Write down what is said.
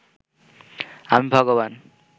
আমি ভগবান